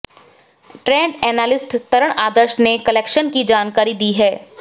trade analyst Taran Adarsh ने collection की जानकारी दी है